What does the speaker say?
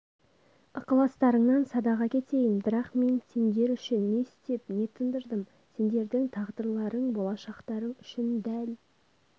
ықыластарыңнан садаға кетейін бірақ мен сендер үшін не істеп не тындырдым сендердің тағдырларың болашақтарың үшін дәл